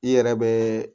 I yɛrɛ bɛ